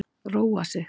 Róa sig.